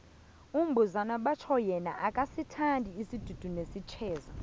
umbuzana batjho yena akasithandi isidudu nesijeza